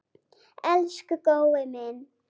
Elsku Gói minn.